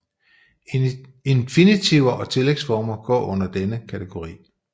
Infinitiver og tillægsformer går under denne kategori